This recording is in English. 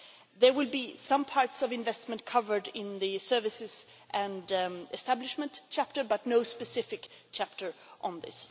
There will be some parts of investment covered in the services and establishment chapter, but no specific chapter on this.